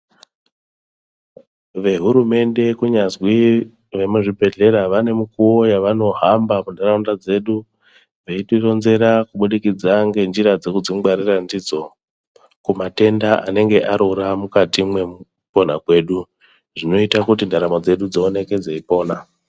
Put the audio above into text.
Vehurumende kunyazwi vemuzvibhedhlera vane mukuvo vavanohamba kuntaraunda dzedu. Veitironzera kubudikidza ngenjira dzekudzingwarira ndidzo kumatenda anenge arura mukati mwekupona kwedu. Zvinota kuti ndaramo dzedu dzioneke dzeipona.